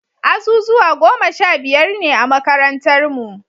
Azuzuwa goma sha biyar ne a makarantarnu.